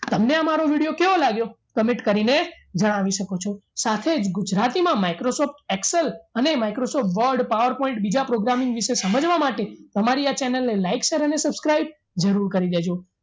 તમને આ મારો video કેવો લાગ્યો comment કરીને જણાવી શકો છો સાથે જ ગુજરાતીમાં microsoft excel અને microsoft word power point બીજા programming વિશે સમજવા માટે અમારી આ channel ને like share and subscribe જરૂર કરી દેજો